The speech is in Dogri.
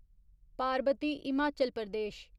पारबती हिमाचल प्रदेश